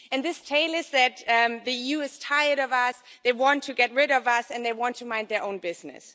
And this tale is that the EU is tired of us, they want to get rid of us and they want to mind their own business.